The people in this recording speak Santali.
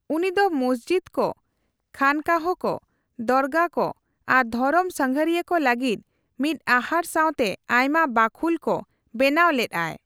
ᱩᱱᱤᱫᱚ ᱢᱚᱥᱡᱤᱫ ᱠᱚ, ᱠᱷᱟᱱᱠᱟᱦ ᱠᱚ, ᱫᱚᱨᱜᱟᱦ ᱠᱚ, ᱟᱨ ᱫᱷᱚᱨᱚᱢ ᱥᱟᱸᱜᱟᱨᱤᱭᱟᱹ ᱠᱚ ᱞᱟᱹᱜᱤᱫ ᱢᱤᱫ ᱟᱦᱟᱨ ᱥᱟᱣᱛᱮ ᱟᱭᱢᱟ ᱵᱟᱹᱠᱷᱩᱞ ᱠᱚ ᱵᱮᱱᱟᱣ ᱞᱮᱫᱼᱟᱭ ᱾